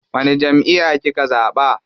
Wani jamʼiya kika zaɓa?